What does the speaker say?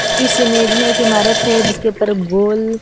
इस इमेज में एक इमारत है जिसके ऊपर गोल--